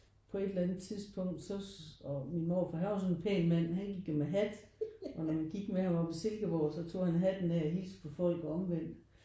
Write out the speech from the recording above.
På et eller andet tidspunkt så og min morfar han var sådan en pæn mand han gik jo med hat og når man gik med over på Silkeborg så tog han hatten af og hilste på folk og omvendt